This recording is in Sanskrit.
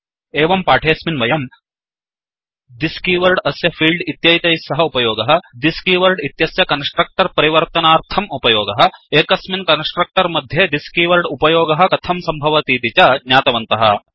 एवं पाठेस्मिन् वयम् थिस् कीवर्ड् अस्य फील्ड् इत्येतैः सह उपयोगः थिस् कीवर्ड् इत्यस्य कन्स्ट्रक्टर् परिवर्तनार्थं उपयोगः एकस्मिन् कन्स्ट्रक्टर् मध्ये थिस् कीवर्ड् उपयोगः कथं सम्भवतीति च ज्ञातवन्तः